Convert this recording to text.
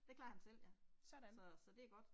Det klarer han selv ja. Så så det er godt